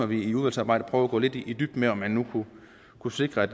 vi i udvalgsarbejde prøver at gå lidt i dybden med om man nu kunne sikre at